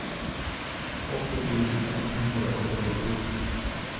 åtte tusen ett hundre og syttito